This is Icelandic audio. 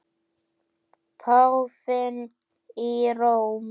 Páfinn í Róm.